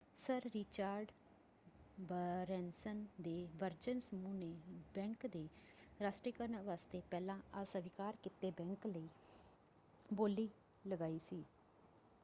Sir Richard Branson ਦੇ Virgin ਸਮੂਹ ਨੇ ਬੈਂਕ ਦੇ ਰਾਸ਼ਟਰੀਕਰਨ ਵਾਸਤੇ ਪਹਿਲਾਂ ਅਸਵੀਕਾਰ ਕੀਤੇ ਬੈਂਕ ਲਈ ਬੋਲੀ ਲਗਾਈ ਸੀ।